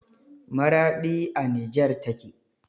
Maraɗi a nijer take